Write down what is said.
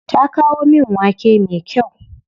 Ta kawo min wake me kyau.